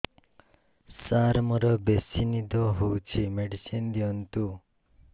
ସାର ମୋରୋ ବେସି ନିଦ ହଉଚି ମେଡିସିନ ଦିଅନ୍ତୁ